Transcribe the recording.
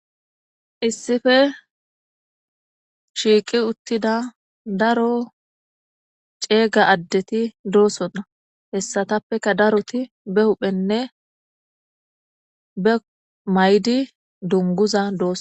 Issippe shiqi utida daro cega addeti dosona heyisatapeka daroti ba huphenne ba mayidi guniguza dosona.